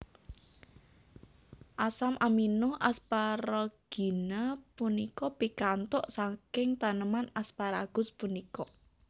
Asam amino asparagina punika pikantuk saking taneman asparagus punika